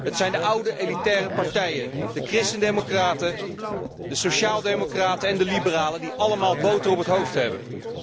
Het zijn de oude elitaire partijen, de christen democraten, de sociaal democraten en de liberalen, die allemaal boter op het hoofd hebben.